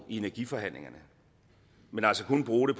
i energiforhandlingerne men kun bruge